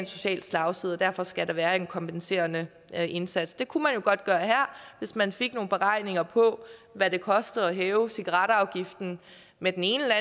social slagside derfor skal der være en kompenserende indsats det kunne man jo godt gøre her hvis man fik nogle beregninger på hvad det koster at hæve cigaretafgiften med den ene